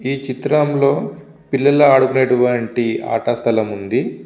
ఈ చిత్రం లో పిల్లలు ఆడుకునే వంటి ఆట స్థలం వుంది.